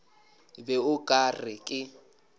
be o ka re ke